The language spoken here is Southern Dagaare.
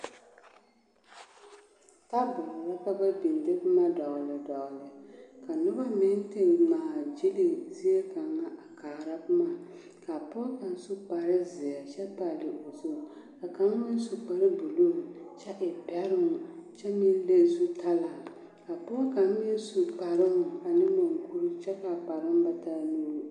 Taaboore la ka ba biŋ a de boma a dɔgle dɔgle ka noba mine te ŋmaa gyilli zie kaŋa a kaara boma ka pɔge kaŋ su kparezeɛ kyɛ pali o zu ka kaŋ meŋ su kparebuluu kyɛ e bɛroŋ kyɛ meŋ leŋ zutalaa ka pɔge kaŋ meŋ su kparoŋ ane maŋkuri kyɛ ka a kparoŋ ba taa nuure.